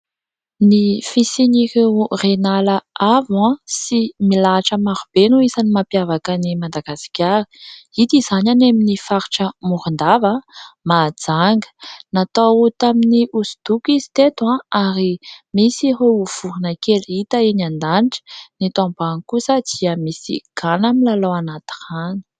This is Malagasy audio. Ny fisian'ireo Reniala avo sy milahatra marobe no isan'ny mampiavaka an'i Madagasikara; hita izany any amin'ny faritra Morondava, Mahajanga .Natao tamin'ny hosodoko izy teto, ary misy ireo voronkely hita eny an-danitra, eto ambany kosa dia misy gana milalao anaty rano.